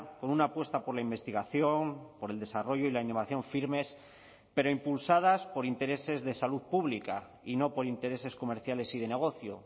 con una apuesta por la investigación por el desarrollo y la innovación firmes pero impulsadas por intereses de salud pública y no por intereses comerciales y de negocio